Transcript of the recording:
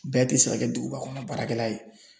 Bɛɛ te se ka kɛ duguba kɔnɔ baarakɛla ye